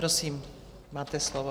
Prosím, máte slovo.